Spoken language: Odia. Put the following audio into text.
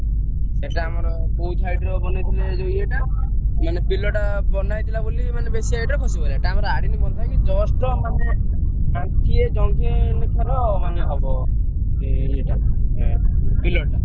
ସେଟା ଆମର ।